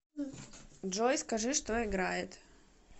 джой скажи что играет